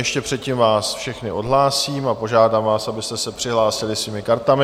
Ještě předtím vás všechny odhlásím a požádám vás, abyste se přihlásili svými kartami.